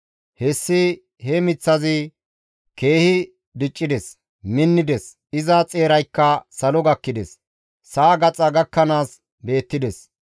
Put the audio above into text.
Hessi he miththazi keehi diccides; minnides; iza xeeraykka salo gakkides; sa7a gaxa gakkanaas beettides.